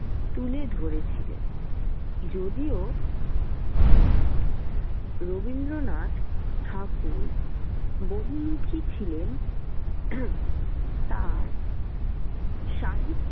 তুলে ধরেছিলেন। যদিও রবীন্দ্রনাথ ঠাকুর বহুমুখী ছিলেন আহ তাঁর সাহি।